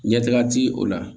Ɲɛtaga ti o la